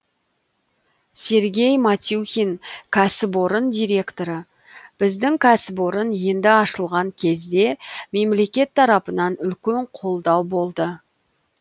сергей матюхин кәсіпорын директоры біздің кәсіпорын енді ашылған кезде мемлекет тарапынан үлкен қолдау болды